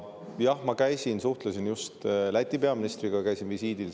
Jah, ma suhtlesin just Läti peaministriga, käisin seal visiidil.